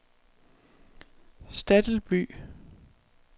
Stadilby